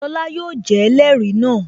Lọla yóò jẹ́ ẹlẹrìí náà